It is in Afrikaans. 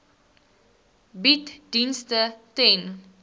bied dienste ten